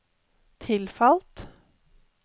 tilfalt